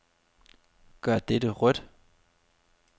Gør dette rødt.